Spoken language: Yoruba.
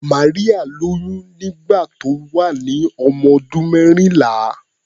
Maria lóyún nígbà tó wà ní ọmọdún mẹ́rìnlá.